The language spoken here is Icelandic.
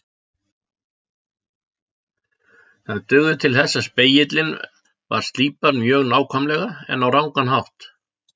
Það dugði til þess að spegillinn var slípaður mjög nákvæmlega en á rangan hátt.